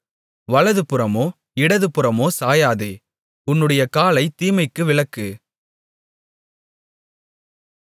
வலதுபுறமோ இடதுபுறமோ சாயாதே உன்னுடைய காலைத் தீமைக்கு விலக்கு